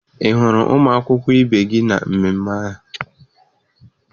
Ị hụrụ ụmụ akwụkwọ ibe gị na mmemme ahụ?